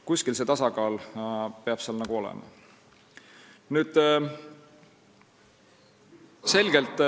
Kuskil peab see tasakaal olema.